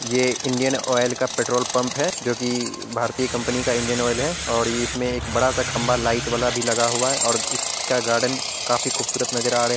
यह Indian oil का petrol pump है जो की भारतीय कंपनी का इंडियन ऑइल है और इसमे एक बड़ा सा खंभा लाइट वाला भी लगा हुआ है और इसका गार्डन काफी खूबसूरत नजर आ रहे --